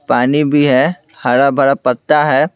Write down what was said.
पानी भी है हरा-भरा पत्ता है।